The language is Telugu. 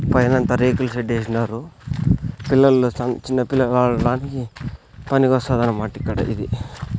పైనంతా రేకుల షెడ్ ఏసినారు పిల్లల సన్ చిన్నపిల్లగళ్ళని పనికొస్తదనమాట ఇక్కడ ఇది.